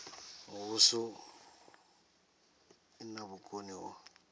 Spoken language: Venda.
muvhuso i na vhukoni ho